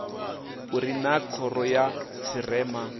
uri naa khoro ya tshirema